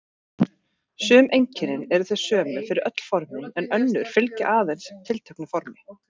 Sum einkennin eru þau sömu fyrir öll formin en önnur fylgja aðeins tilteknu formi.